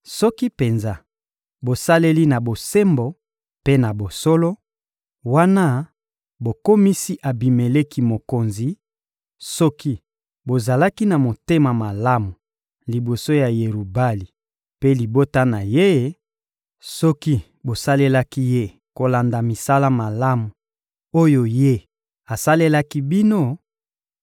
Soki penza bosaleli na bosembo mpe na bosolo, wana bokomisi Abimeleki mokonzi; soki bozalaki na motema malamu liboso ya Yerubali mpe libota na ye, soki bosalelaki ye kolanda misala malamu oyo ye asalelaki bino,